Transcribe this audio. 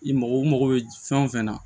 I mago mako bɛ fɛn o fɛn na